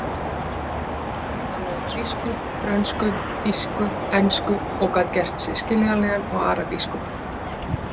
Hann talaði grísku, frönsku, þýsku, ensku og gat gert sig skiljanlegan á arabísku